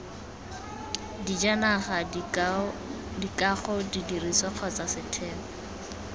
dijanaga dikago didirisiwa kgotsa setheo